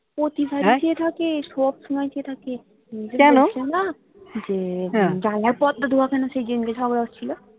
প্রতিবারই চেয়ে থাকে সব সময় চেয়ে থাকে যে জানলার পর্দা দেওয়া কেন সেইদিনকে সবাই ছিল